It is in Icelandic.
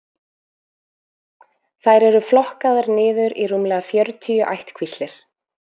þær eru flokkaðar niður í rúmlega fjörutíu ættkvíslir